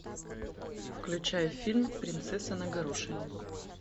включай фильм принцесса на горошине